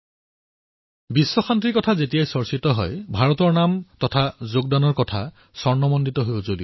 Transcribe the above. যেতিয়াই বিশ্ব শান্তিৰ কথা কোৱা হব তেতিয়াই ভাৰতৰ অংশগ্ৰহণৰ কথা সোণালী আখৰেৰে লিখা ৰব